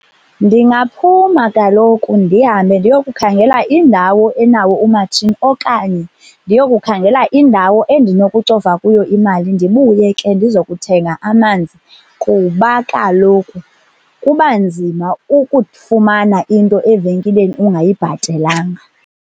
Ndingaphuma kaloku ndihambe ndiyokukhangela indawo enawo umatshini, okanye ndiyokukhangela indawo endinokucofa kuyo imali ndibuye ke ndizokuthenga amanzi. Kuba kaloku kuba nzima ukufumana into evenkileni ungayibhatelanga.